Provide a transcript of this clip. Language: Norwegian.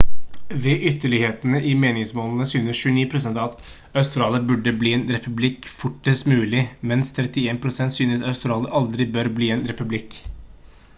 ved ytterlighetene i meningsmålingen synes 29 % at australia burde bli en republikk fortest mulig mens 31 % synes australia aldri bør bli en republikk